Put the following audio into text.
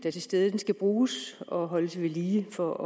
er til stede skal bruges og holdes vedlige for